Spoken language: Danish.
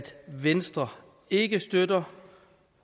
venstre ikke kan støtte